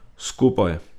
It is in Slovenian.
Skupaj!